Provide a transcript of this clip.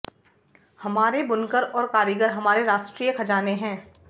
हमारे बुनकर और कारीगर हमारे राष्ट्रीय खजाने हैं